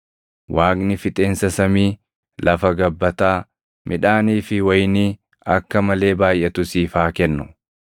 Waaqni fixeensa samii, lafa gabbataa, midhaanii fi wayinii akka malee baayʼatu siif haa kennu.